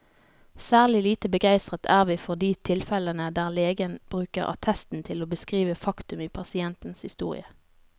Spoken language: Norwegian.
Særlig lite begeistret er vi for de tilfellene der legen bruker attesten til å beskrive faktum i pasientens historie.